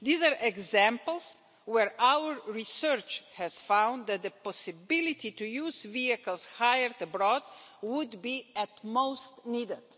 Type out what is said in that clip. These are examples where our research has found that the possibility to use vehicles hired abroad would be most needed.